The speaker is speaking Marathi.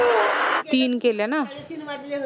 तीन केल्या न?